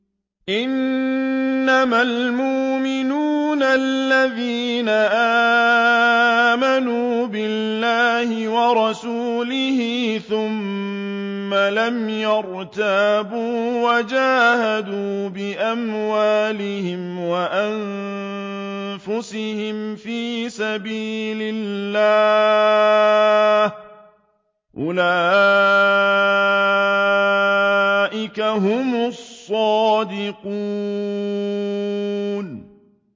إِنَّمَا الْمُؤْمِنُونَ الَّذِينَ آمَنُوا بِاللَّهِ وَرَسُولِهِ ثُمَّ لَمْ يَرْتَابُوا وَجَاهَدُوا بِأَمْوَالِهِمْ وَأَنفُسِهِمْ فِي سَبِيلِ اللَّهِ ۚ أُولَٰئِكَ هُمُ الصَّادِقُونَ